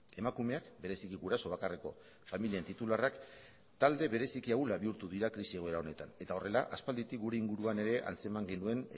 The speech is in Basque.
emakumeak bereziki guraso bakarreko familien titularrak talde bereziki ahula bihurtu dira krisi egoera honetan eta horrela aspalditik gure inguruan ere antzeman genuen